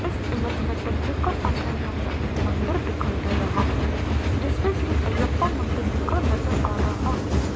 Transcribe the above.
इस इमेज में देखिएगा सामने यहां एक मंदिर दिखाई दे रहा है जिसपे श्री अय्यप्पा मंदिर लिखा नजर आ रहा है।